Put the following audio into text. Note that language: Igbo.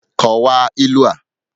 Kọwaa ilu a ugbu a!